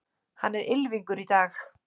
Hann er ylfingur í dag.